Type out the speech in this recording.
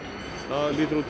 það